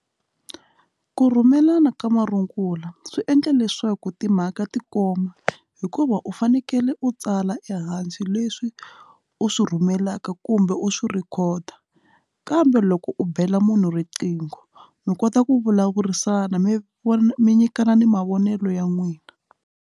Ku rhumelana ka marungula swi endla leswaku timhaka ti koma hikuva u fanekele u tsala ehansi leswi u swi rhumelaka kumbe u swi rhikhoda kambe loko u bela munhu riqingho mi kota ku vulavurisana mi vona mi nyikana na mavonelo ya n'wina.